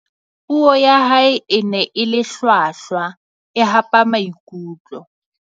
puo ya hae e ne e le hlwahlwa e hapa maikutlo